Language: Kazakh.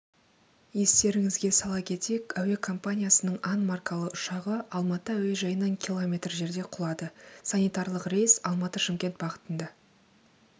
естеріңізге сала кетейік әуекомпаниясының ан маркалы ұшағы алматы әуежайынан километр жерде құлады санитарлық рейс алматы-шымкент бағытында